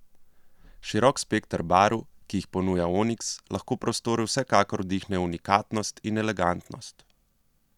Širok spekter barv, ki jih ponuja oniks, lahko prostoru vsekakor vdihne unikatnost in elegantnost.